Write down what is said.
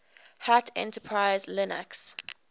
hat enterprise linux